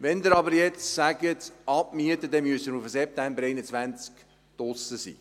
Wenn Sie jetzt aber sagen, «abmieten», müssen wir per September 2021 raus.